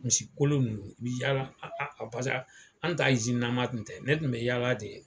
Misikolo ninnu i bɛ yaala pasa an ta tun tɛ ne tun bɛ yaala de.